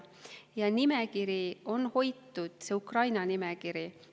Ukraina nimekirja on hoitud.